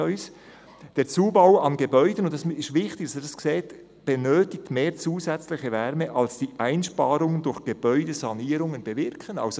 Es ist wichtig, dass Sie Folgendes wissen: «Der Zubau an Gebäuden benötigt mehr zusätzliche Wärme als die Einsparung durch Gebäudesanierungen bewirken.»